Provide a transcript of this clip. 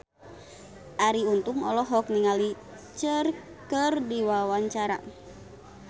Arie Untung olohok ningali Cher keur diwawancara